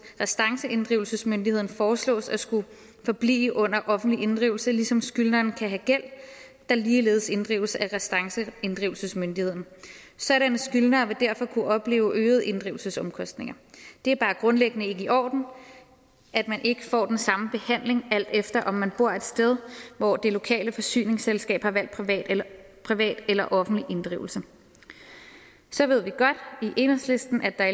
restanceinddrivelsesmyndigheden foreslås at skulle forblive under offentlige inddrivelse ligesom skyldneren kan have gæld der ligeledes inddrives af restanceinddrivelsesmyndigheden sådanne skyldnere vil derfor kunne opleve øgede inddrivelsesomkostninger det er bare grundlæggende ikke i orden at man ikke får den samme behandling alt efter om man bor et sted hvor det lokale forsyningsselskab har valgt privat eller privat eller offentlig inddrivelse så ved vi godt i enhedslisten at der